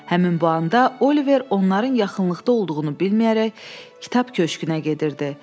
Həmin bu anda Oliver onların yaxınlıqda olduğunu bilməyərək kitab köşkünə gedirdi.